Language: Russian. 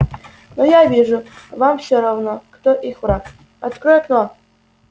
но я вижу вам все равно кто их враг открой окно